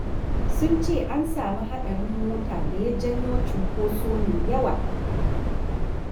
Sun ce an samu haɗarin mota da ya janyo cunkoso mai yawa.